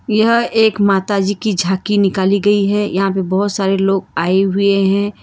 यह एक माताजी की झांकी निकाली गई है यहां पे बहोत सारे लोग आए हुए हैं।